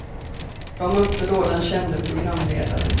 De mötte då den kände programledaren.